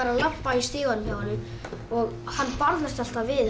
að labba í stiganum hjá honum hann barðist alltaf við